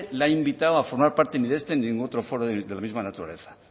le ha invitado a formar parte de ni de este ni de ningún otro foro de la misma naturaleza